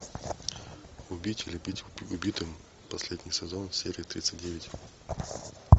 м